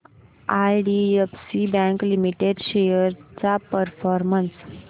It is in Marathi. आयडीएफसी बँक लिमिटेड शेअर्स चा परफॉर्मन्स